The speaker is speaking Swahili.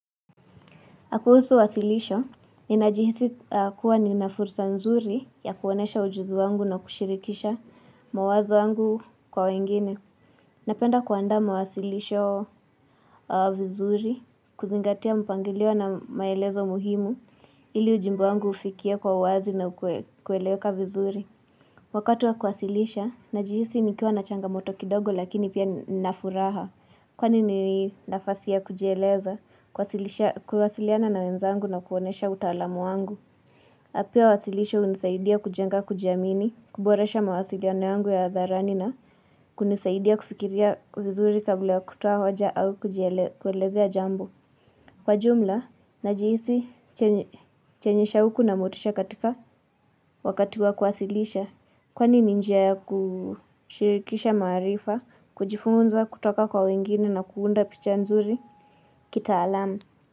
Kuhusu wasilisho, ninajihisi kuwa nina fursa nzuri ya kuonyesha ujuzi wangu na kushirikisha mawazo yangu kwa wengine. Napenda kuandaa mawasilisho vizuri, kuzingatia mpangilio na maelezo muhimu, ili ujumbe wangu ufikie kwa uwazi na kueleweka vizuri. Wakati wa kuwasilisha, najihisi nikiwa na changamoto kidogo lakini pia nina furaha. Kwani ni nafasi ya kujieleza, kuwasiliana na wenzangu na kuonyesha utaalamu wangu. Na pia uwasilisho hunisaidia kujenga kujiamini, kuboresha mawasiliano yangu ya hadharani na kunisaidia kufikiria vizuri kabla ya kutoa hoja au kuelezea jambo. Kwa jumla, najihisi chenye shauku na motisha katika wakati wa kuwasilisha. Kwani ni njia ya kushirikisha maarifa, kujifunza, kutoka kwa wengine na kuunda picha nzuri kitaalamu.